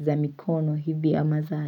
za mikono hivi ama za.